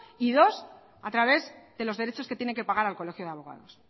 y dos a través de los derechos que tienen que pagar al colegio de abogados